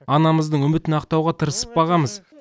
анамыздың үмітін ақтауғы тырысып бағамыз